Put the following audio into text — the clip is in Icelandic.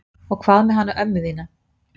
En hvað með hana ömmu þína?